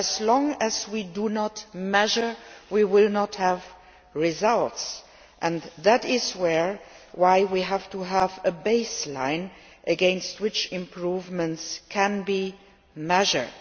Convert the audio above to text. If we do not measure, we will not have results, and that is why we need a baseline against which improvements can be measured.